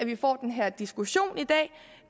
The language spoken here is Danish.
vi får den her diskussion i dag